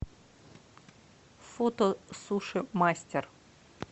фото суши мастер